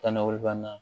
Taa nakɔ banna